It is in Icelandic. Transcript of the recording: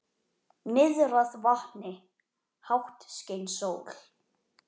Niðrað vatni, hátt skein sól.